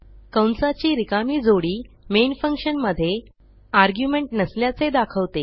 कंसाची रिकामी जोडी मेन फंक्शन मधे आर्ग्युमेंट नसल्याचे दाखवते